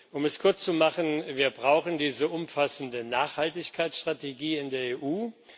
Um es kurz zu machen Wir brauchen diese umfassende Nachhaltigkeitsstrategie in der EU.